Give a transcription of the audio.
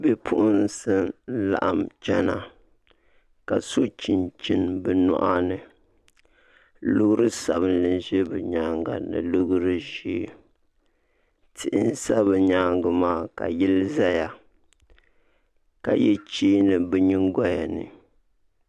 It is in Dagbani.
Bipuɣunsi n laɣam chɛna ka so chinchini bi nyoɣani loori sabinli n bɛ bi nyaanga ni loori ʒiɛ tihi n sa bi myaangi maa ka yili ʒɛya ka yɛ cheeni nim bi nyingoya ni